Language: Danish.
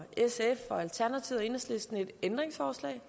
sf alternativet og enhedslisten faktisk et ændringsforslag